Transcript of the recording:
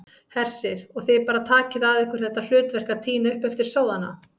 Hersir: Og þið bara takið að ykkur þetta hlutverk að tína upp eftir sóðana?